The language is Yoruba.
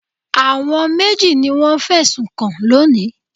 Àwọn méjì ni wọ́n fẹ̀sùn kàn lónìí.